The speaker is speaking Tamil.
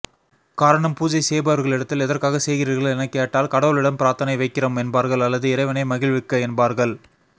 காரணம் பூஜை செய்பவர்களிடத்தில் எதற்காக செய்கிறீர்கள் எனக்கேட்டால் கடவுளிடம் பிராத்தனை வைக்கிறோம் என்பார்கள் அல்லது இறைவனை மகிழ்விக்க என்பர்கள்